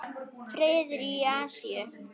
Friður í Asíu.